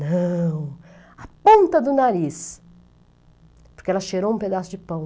Não, a ponta do nariz, porque ela cheirou um pedaço de pão.